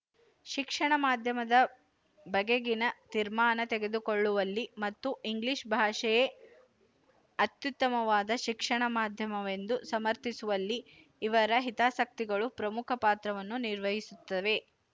ಶಿಕ್ಷಣ ಮಾಧ್ಯಮದ ಬಗೆಗಿನ ತೀರ್ಮಾನ ತೆಗೆದುಕೊಳ್ಳುವಲ್ಲಿ ಮತ್ತು ಇಂಗ್ಲಿಶ ಭಾಷೆಯೇ ಅತ್ಯುತ್ತಮವಾದ ಶಿಕ್ಷಣ ಮಾಧ್ಯಮವೆಂದು ಸಮರ್ಥಿಸುವಲ್ಲಿ ಇವರ ಹಿತಾಸಕ್ತಿಗಳು ಪ್ರಮುಖ ಪಾತ್ರವನ್ನು ನಿರ್ವಹಿಸುತ್ತವೆ